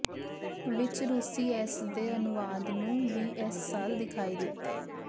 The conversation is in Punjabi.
ਵਿੱਚ ਰੂਸੀ ਇਸ ਦੇ ਅਨੁਵਾਦ ਨੂੰ ਵੀ ਇਸ ਸਾਲ ਦਿਖਾਈ ਦਿੱਤੇ